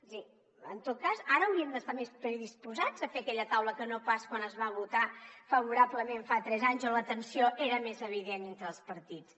és a dir en tot cas ara hauríem d’estar més predisposats a fer aquella taula que no pas quan es va votar favorablement fa tres anys on la tensió era més evident entre els partits